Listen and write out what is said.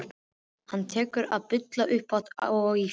Og hann tekur að bulla upphátt og í hljóði.